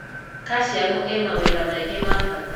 Calcium ĩ mawĩra maingĩ ma bata.